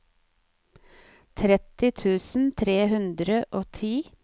tretti tusen tre hundre og ti